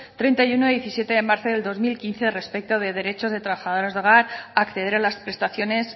treinta y uno barra dos mil diecisiete de marzo del dos mil quince respecto de derechos de trabajadores del hogar acceder a las prestaciones